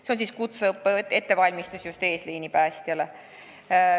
Seal on tegu kutseõppe korras ettevalmistusega just eesliini päästjatele.